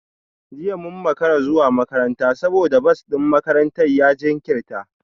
Jiya mun makara zuwa makaranta saboda bas din makarantar ya jinkirta